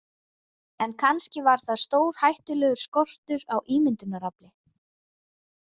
En kannski var það stórhættulegur skortur á ímyndunarafli.